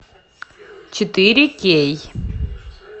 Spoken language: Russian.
четыре кей